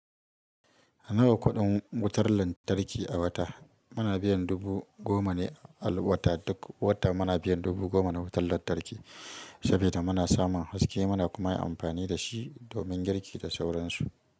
A nawa kuɗin wutar lantarki a wata? Muna biyan dubu goma ne a wata duk wata muna biyan dubu goma na wutar lantarki, saboda muna samun haske muna kuma amfani da shi domin girki da sauran su.